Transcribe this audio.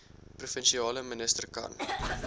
provinsiale minister kan